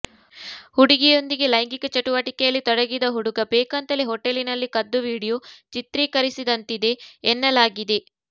ಹುಡುಗಿಯೊಂದಿಗೆ ಲೈಂಗಿಕ ಚಟುವಟಿಕೆಯಲ್ಲಿ ತೊಡಗಿದ ಹುಡುಗ ಬೇಕೆಂತಲೇ ಹೊಟೇಲಿನಲ್ಲಿ ಕದ್ದು ವಿಡಿಯೋ ಚಿತ್ರೀಕರಿಸಿದಂತಿದೆ ಎನ್ನಲಾಗಿದೆ